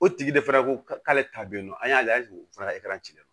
O tigi de fana ko k'ale ta be yen nɔ an y'ale o fana ci la